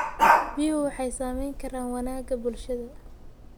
Biyuhu waxay saamayn karaan wanaagga bulshada.